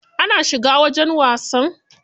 Ana shiga wajen wasan?